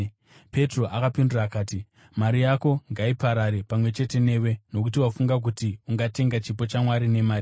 Petro akapindura akati, “Mari yako ngaiparare pamwe chete newe, nokuti wafunga kuti ungatenga chipo chaMwari nemari!